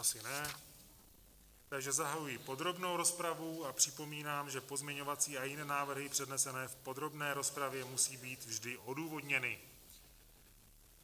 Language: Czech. Asi ne, takže zahajuji podrobnou rozpravu a připomínám, že pozměňovací a jiné návrhy přednesené v podrobné rozpravě musí být vždy odůvodněny.